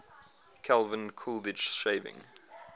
calvin coolidge shaving